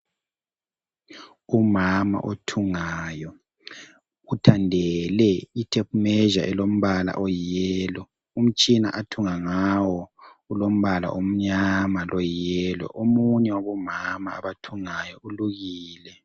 Umama othungayo, uthandele ithephi 'measure' elombala oyiyelo. Umtshina athunga ngawo ulombala omunyama loyiyelo. Omunye wabomama abathungayo ulukile.